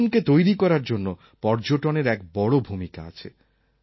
জীবনকে তৈরি করার জন্য পর্যটনের এক বড় ভূমিকা আছে